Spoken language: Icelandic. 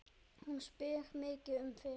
Hún spyr mikið um þig.